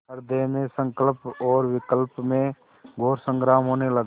हृदय में संकल्प और विकल्प में घोर संग्राम होने लगा